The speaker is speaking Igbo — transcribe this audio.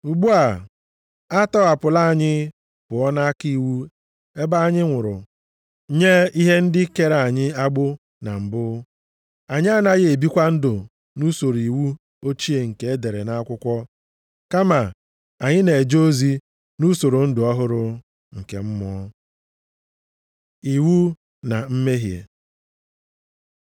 Ugbu a, a tọghapụla anyị pụọ nʼaka iwu ebe anyị nwụrụ nye ihe ndị kere anyị agbụ na mbụ, anyị anaghị ebikwa ndụ nʼusoro iwu ochie nke e dere nʼakwụkwọ, kama anyị na-eje ozi nʼusoro ndụ ọhụrụ nke mmụọ. Iwu na mmehie